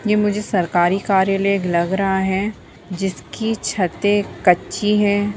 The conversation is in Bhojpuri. ये मुझे सरकारी कार्यालय लग रहा है जिसकी छते कच्ची है।